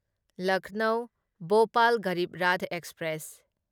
Lucknow Bhopal Garib Rath express